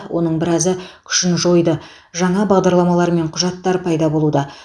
оның біразы күшін жойды жаңа бағдарламалар мен құжаттар пайда болуда